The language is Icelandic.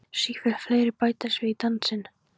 Sífellt fleiri bætast við í dansinn.